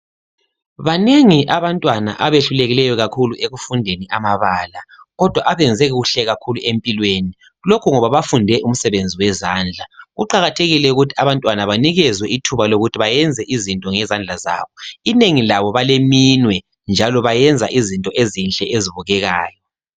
Banengi abantwana abehlulekileyo kakhulu ekufundeni amabala kodwa abenze kuhle kakhulu empilweni. Lokho ngoba bafunde umsebenzi wezandla. Kuqakathekile ukuthi abantwana banikezwe ithuba lokuthi bayenze izinto ngezandla zabo. Inengi labo baleminwe njalo bayenza izinto ezinhle ezibukekayo.